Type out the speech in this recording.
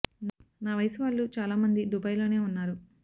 నా వయసు వాళ్ళు చాలా మం ది దుబాయ్ లోనే ఉన్నారు